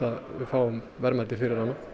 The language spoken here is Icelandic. við fáum verðmæti fyrir hana